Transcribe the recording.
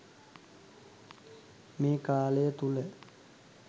මේ කාලය තුළ